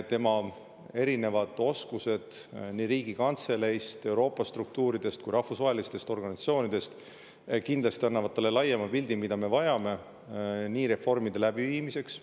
Tema erinevad oskused nii Riigikantseleist, Euroopa struktuuridest kui ka rahvusvahelistest organisatsioonidest kindlasti annavad talle laiema pildi, mida me vajame reformide läbiviimiseks.